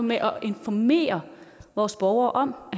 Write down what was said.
med at informere vores borgere om